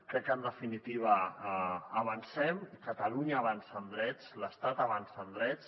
crec que en definitiva avancem i catalunya avança en drets l’estat avança en drets